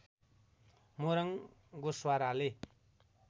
Morang गोश्वाराले